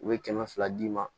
U bɛ kɛmɛ fila d'i ma